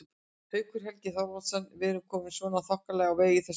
Haukur Helgi Þorvaldsson: En erum við komin svona þokkalega á veg í þessum efnum?